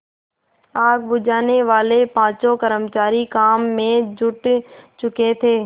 आग बुझानेवाले पाँचों कर्मचारी काम में जुट चुके थे